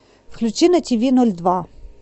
включи на тв ноль два